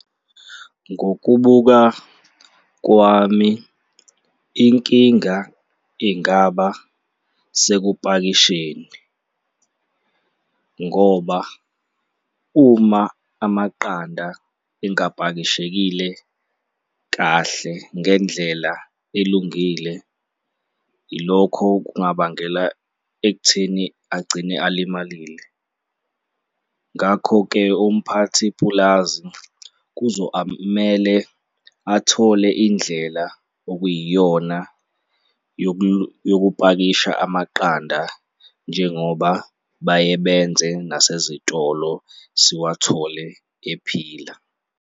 Ngokubuka kwami, inkinga ingaba sekupakisheni ngoba uma amaqanda engapakishekile kahle ngendlela elungile, ilokho kungabangela ekutheni agcine alimalile. Ngakho-ke, umphathi-pulazi kuzo amele athole indlela okuyiyona yokupakisha amaqanda njengoba baye benze nasezitolo, siwathole ephila.